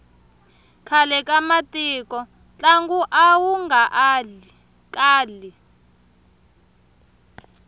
khale ka matiko ntlangu awu nga kali